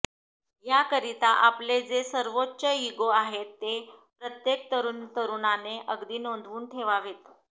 याकरिता आपले जे सर्वोच्च इगो आहेत ते प्रत्येक तरुण तरुणीने अगदी नोंदवून ठेवावेत